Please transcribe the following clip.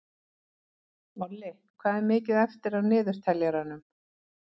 Olli, hvað er mikið eftir af niðurteljaranum?